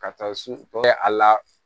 Ka taa so kɔfɛ a la